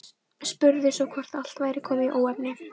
Spurði svo hvort allt væri komið í óefni.